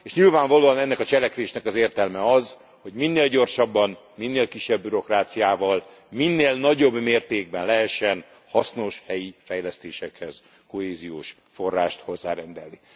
És nyilvánvalóan ennek a cselekvésnek az értelme az, hogy minél gyorsabban, minél kisebb bürokráciával, minél nagyobb mértékben lehessen hasznos helyi fejlesztésekhez kohéziós forrást hozzárendelni.